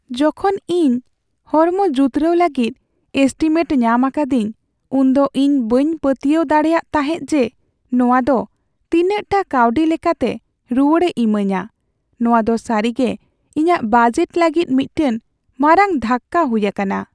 ᱡᱚᱠᱷᱚᱱ ᱤᱧ ᱦᱚᱲᱢᱚ ᱡᱩᱛᱨᱟᱹᱣ ᱞᱟᱹᱜᱤᱫ ᱮᱥᱴᱤᱢᱮᱴ ᱧᱟᱢ ᱟᱠᱟᱫᱤᱧ , ᱩᱱᱫᱚ ᱤᱧ ᱵᱟᱹᱧ ᱯᱟᱹᱛᱭᱟᱹᱣ ᱯᱟᱹᱛᱭᱟᱹᱣ ᱫᱟᱲᱮᱭᱟᱜ ᱛᱟᱦᱮᱫ ᱡᱮ ᱱᱚᱶᱟ ᱫᱚ ᱛᱤᱱᱟᱜᱴᱟ ᱠᱟᱹᱣᱰᱤ ᱞᱮᱠᱟᱛᱮ ᱨᱩᱣᱟᱹᱲᱮ ᱤᱢᱟᱹᱧᱟ ᱾ ᱱᱚᱶᱟ ᱫᱚ ᱥᱟᱹᱨᱤᱜᱮ ᱤᱧᱟᱹᱜ ᱵᱟᱡᱮᱴ ᱞᱟᱹᱜᱤᱫ ᱢᱤᱫᱴᱟᱝ ᱢᱟᱨᱟᱝ ᱫᱷᱟᱠᱠᱟ ᱦᱩᱭ ᱟᱠᱟᱱᱟ ᱾